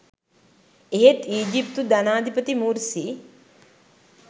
එහෙත් ඊජිප්තු ජනාධිපති මුර්සි